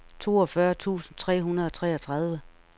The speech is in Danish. toogfyrre tusind tre hundrede og treogtredive